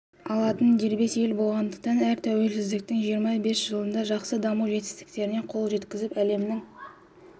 алатын дербес ел болғандықтан әрі тәуелсіздіктің жиырма бес жылында жақсы даму жетістіктеріне қол жеткізіп әлемнің